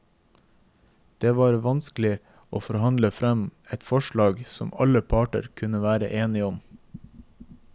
Det var vanskelig å forhandle frem et forslag som alle parter kunne være enige om.